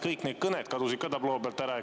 Kõik kõned kadusid tabloo pealt ära.